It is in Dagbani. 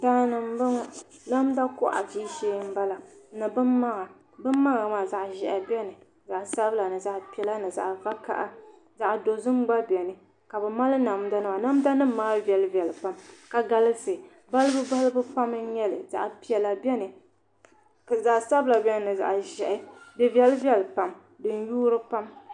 Daani n bɔŋɔ namda kohi ʒishee n bala ni bin maŋa bin maŋa maa zaɣ ʒiɛhi biɛni zaɣ sabila ni zaɣ piɛla ni zaɣ vakaɣa zaɣ dozim gba biɛni ka bi mali namda nima namda nim maa viɛli viɛli pam ka galisi balibu balibu pam n nyɛli zaɣ piɛla biɛni zaɣ sabila biɛni ni zaɣ ʒiɛhi di viɛli viɛli pam di ni yuuri pam